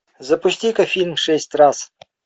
запусти ка фильм шесть раз